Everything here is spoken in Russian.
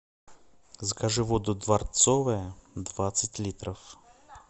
закажи воду дворцовая двадцать литров